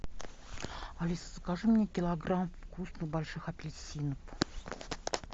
алиса закажи мне килограмм вкусных больших апельсинов